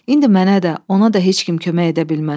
İndi mənə də, ona da heç kim kömək edə bilməz.